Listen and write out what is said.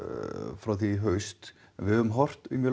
frá því í haust við höfum horft mjög